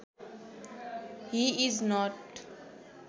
he is not